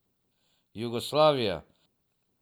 Jugoslavija.